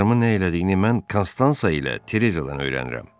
Qızlarımı nə elədiyini mən Konstansa ilə Terejadan öyrənirəm.